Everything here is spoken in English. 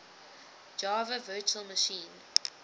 java virtual machine